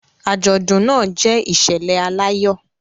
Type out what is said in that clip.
Àjọ̀dún náà jẹ́ ìṣẹ̀lẹ̀ aláyọ̀